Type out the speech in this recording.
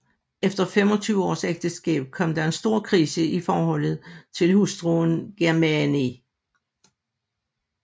Efter femogtyve års ægteskab kom der en stor krise i forholdet til hustruen Germaine